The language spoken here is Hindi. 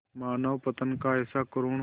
मानवपतन का ऐसा करुण